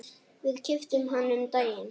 Við keyptum hann um daginn.